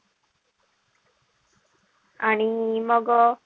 आणि मग,